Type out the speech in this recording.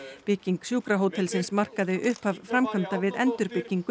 bygging sjúkrahótelsins markaði upphaf framkvæmda við endurbyggingu